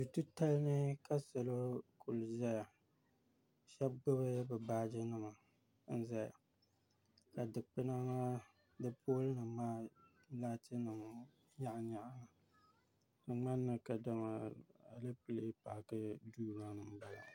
Dutitali ni ka salo kuli zaya shɛba gbubi bɛ baajinima n zaya ka digbuna maa di poolinima maa ka laatinima kuli nyaɣiyaɣi li di ŋmanimi kadama alepile paaki duu ni m-bala